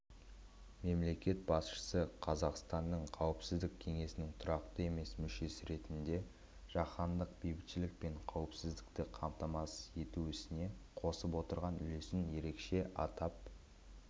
мемлекет басшысы қазақстанның қауіпсіздік кеңесінің тұрақты емес мүшесі ретінде жаһандық бейбітшілік пен қауіпсіздікті қамтамасыз ету ісіне қосып отырған үлесін ерекше атап